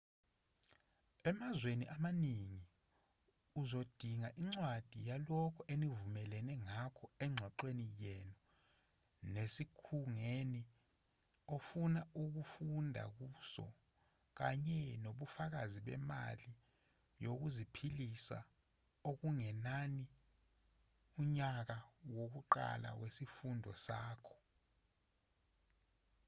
emazweni amaningi uzodinga incwadi yalokho enivumelene ngakho engxoxweni yenu nesikhungweni ofisa ukufunda kuso kanye nobufakazi bemali yokuziphilisa okungenani unyaka wokuqala wesifundo sakho